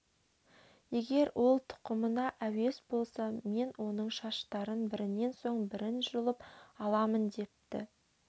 егер ол тұқымына әуес болса мен оның шаштарын бірінен соң бірін жұлып аламын депті